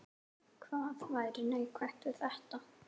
Hvað væri neikvætt við þetta?